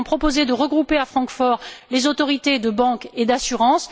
Nous avions proposé de regrouper à Francfort les autorités de banque et d'assurance.